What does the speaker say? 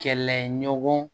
Kɛlɛɲɔgɔn